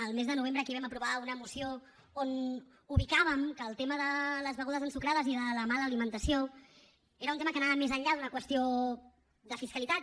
el mes de novembre aquí vam aprovar una moció on ubicàvem que el tema de les begudes ensucrades i de la mala alimentació era un tema que anava més enllà d’una qüestió de fiscalitat